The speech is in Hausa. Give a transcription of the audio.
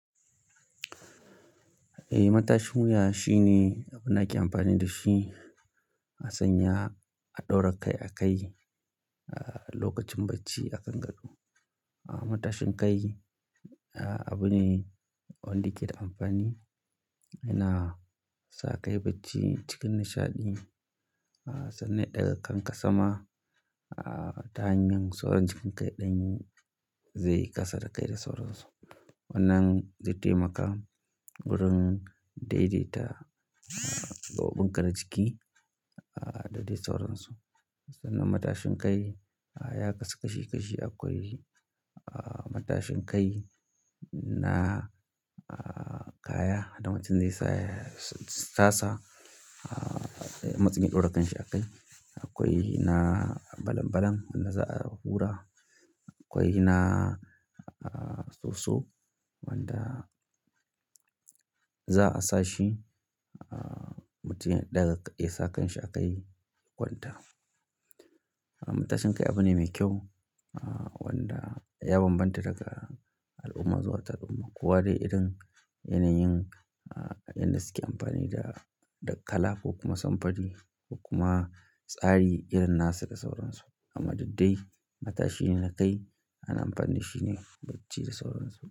Eh, matashin wuya shine nake amfani da shi a sanya a ɗora kai a kai a lokacin bacci a kan gado. Matashin kai abu ne wanda ye ke da amfani yana sa kai bacci cikin nishaɗi sannan ya daga kanka sama ta hanyar sauran jikin ya ɗan yi zai kasa da kaida sauransu. Wannan zai taimaka wurin daidaita gaɓoɓin ƙanan jiki da dai sauransu. Sannan matashin kai ya kasu kashi kashi. Akwai matashin kai na kaya, da mutum zai sa tasa a matsayin ɗora kanshi a kai. Akwai na balan balan wanda za a hura. Akwai na soso wanda za a sa shi mutum ya ɗaga, ya sa kanshi a kai kwanta. Matashin kai abu ne mai kyau wanda ya bambanta daga al'umma zuwa tar al'umma. Kowa dai irin yanayin inda suke amfani da kalafo kuma samfari kuma tsari irin na su da sauransu. Amma duk dai matashi ne kai ana amfani da shi ne bacci da sauransu.